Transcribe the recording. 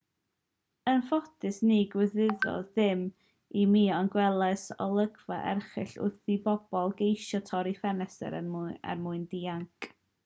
yn ffodus ni ddigwyddodd dim i mi ond gwelais olygfa erchyll wrth i bobl geisio torri ffenestri er mwyn dianc